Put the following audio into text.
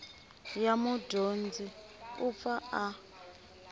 ya mudyondzi u pfa a